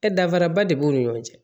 danfaraba de b'u ni ɲɔgɔn cɛ